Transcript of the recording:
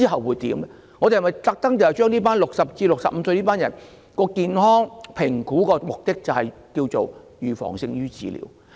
為60歲至64歲這組群人士進行健康評估的目的是預防勝於治療。